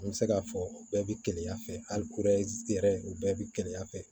An bɛ se k'a fɔ u bɛɛ bɛ keleya fɛ hali yɛrɛ u bɛɛ bɛ keleya fɛ